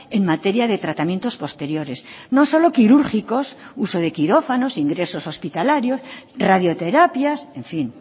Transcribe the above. en materia de tratamientos posteriores no solo quirúrgicos uso de quirófanos ingresos hospitalarios radioterapias en fin